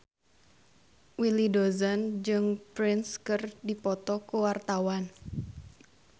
Willy Dozan jeung Prince keur dipoto ku wartawan